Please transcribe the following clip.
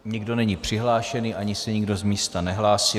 Nikdo není přihlášený, ani se nikdo z místa nehlásí.